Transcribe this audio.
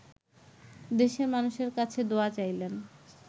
দেশের মানুষের কাছে দোয়া চাইলেন